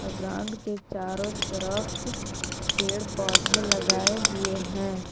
Ground के चारों तरफ पेड़ पौधे लगाए हुए हैं।